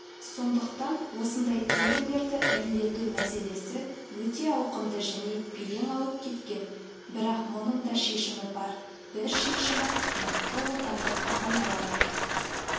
сондықтан осындай тендерлерді ірілету мәселесі өте ауқымды және белең алып кеткен бірақ мұның да шешімі бар бір шешімі мықты отандық компаниялармен